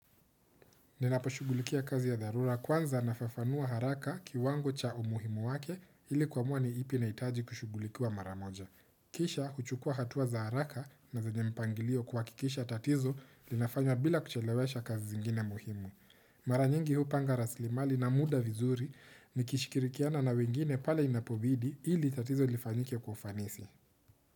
Ninaposhugulikia kazi ya dharura kwanza nafafanua haraka kiwango cha umuhimu wake ili kuamua ni ipi inaitaji kushugulikiwa mara moja. Kisha huchukua hatua za haraka na zenye mpangilio kuhakikisha tatizo linafanya bila kuchelewesha kazi zingine muhimu. Mara nyingi hupanga raslimali na muda vizuri nikishikirikiana na wengine pale inapobidi ili tatizo lifanyike kwa ufanisi.